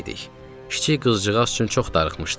Kiçik qızcığaz üçün çox darıxmışdım.